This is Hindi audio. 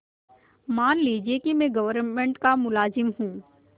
मान लीजिए कि मैं गवर्नमेंट का मुलाजिम हूँ